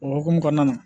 O hukumu kɔnɔna na